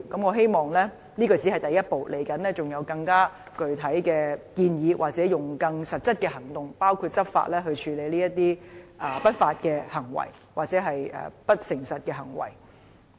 我希望這只是第一步，將來會有更具體的建議或更實質的行動，包括以執法來處理這些不法、或是不誠實的行為。